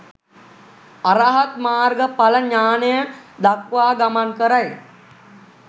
අරහත් මාර්ග ඵල ඥානය දක්වා ගමන් කරයි.